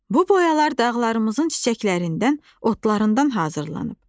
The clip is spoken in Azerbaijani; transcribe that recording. Bu boyalar dağlarımızın çiçəklərindən, otlarından hazırlanıb.